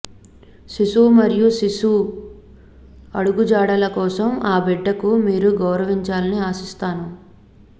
శిశువు మరియు శిశు అడుగుజాడల కోసం ఆ బిడ్డకు మీరు గౌరవించాలని ఆశిస్తాను